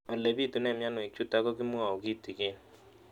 Ole pitune mionwek chutok ko kimwau kitig'�n